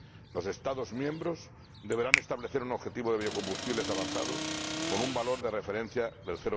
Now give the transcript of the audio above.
Los Estados miembros deberán establecer un objetivo de biocombustibles avanzados con un valor de referencia del